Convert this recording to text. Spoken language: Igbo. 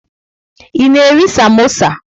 Ị na-eri samosa?